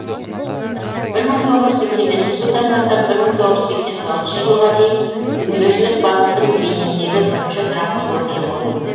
жылдан бастап жылға дейін дүниежүзілік банктің бениндегі бірінші тұрақты өкілі болды